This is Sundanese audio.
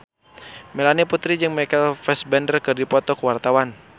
Melanie Putri jeung Michael Fassbender keur dipoto ku wartawan